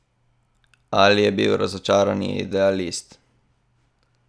Ali je bil razočarani idealist?